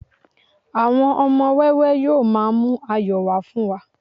àwọn ọmọ wẹwẹ yíò ma mu ayọ wa fún wa